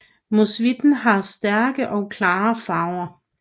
Musvitten har stærke og klare farver